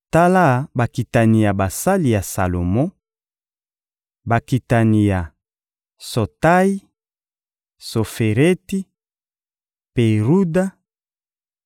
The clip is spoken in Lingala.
Tala bakitani ya basali ya Salomo: Bakitani ya Sotayi, Sofereti, Peruda,